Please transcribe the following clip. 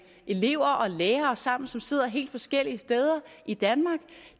elever og lærere sammen som sidder helt forskellige steder i danmark